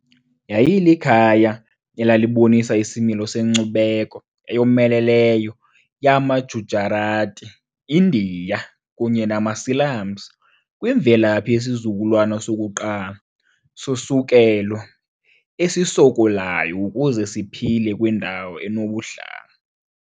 Yayilikhaya elalibonisa isimilo senkcubeko eyomeleleyo yamaGujarati-Indiya kunye namaSilamsi kwimvelaphi yesizukulwana sokuqala sosukelo esisokolayo ukuze siphile kwindawo enobuhlanga.